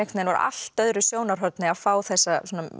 veginn úr allt öðru sjónarhorni að fá þessa